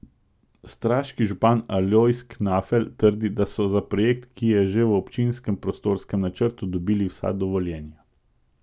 Straški župan Alojz Knafelj trdi, da so za projekt, ki je že v občinskem prostorskem načrtu, dobili vsa dovoljenja.